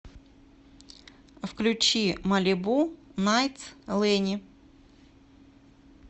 включи малибу найтс лэни